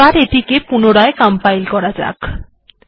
এবার এটিকে পুনরায় কম্পাইল করা যাক